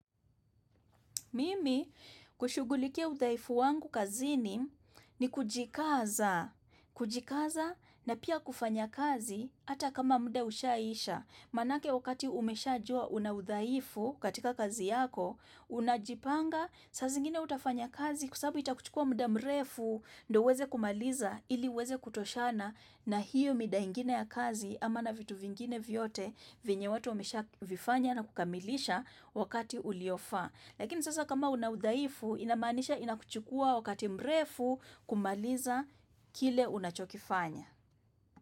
Mimi kushugulikia uthaifu wangu kazini ni kujikaza, kujikaza na pia kufanya kazi hata kama muda ushaisha. Manake wakati umesha jua una uthaifu katika kazi yako, Unajipanga, sa zingine utafanya kazi kwa sababu itakuchukua muda mrefu ndo weze kumaliza ili weze kutoshana na hiyo mida ingine ya kazi ama na vitu vingine vyote vinyewatu umesha vifanya na kukamilisha wakati uliofa. Lakini sasa kama unaudaifu inamanisha inakuchukua wakati mrefu kumaliza kile unachokifanya.